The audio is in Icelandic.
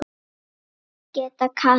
Ágæta Katrín.